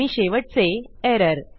आणि शेवटचे एरर